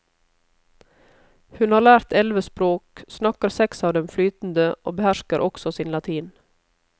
Hun har lært elleve språk, snakker seks av dem flytende og behersker også sin latin.